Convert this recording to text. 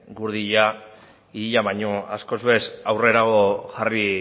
guri hilea baina askoz ere aurrerago